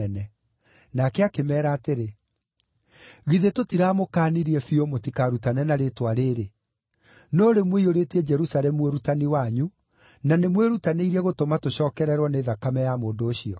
Nake akĩmeera atĩrĩ, “Githĩ tũtiramũkaanirie biũ mũtikarutane na rĩĩtwa rĩĩrĩ, no rĩu mũiyũrĩtie Jerusalemu ũrutani wanyu, na nĩmwĩrutanĩirie gũtũma tũcookererwo nĩ thakame ya mũndũ ũcio.”